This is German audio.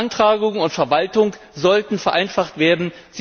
Beantragung und Verwaltung sollten vereinfacht werden.